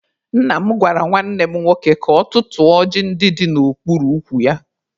Nna m gwara nwanne m nwoke ka ọ tụtụọ ọjị ndị dị n'okpuru ukwu ya.